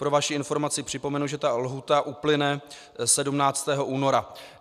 Pro vaši informaci připomenu, že ta lhůta uplyne 17. února.